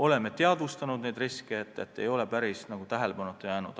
Oleme neid riske teadvustanud, need ei ole päris tähelepanuta jäänud.